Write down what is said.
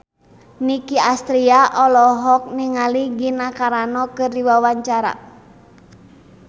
Nicky Astria olohok ningali Gina Carano keur diwawancara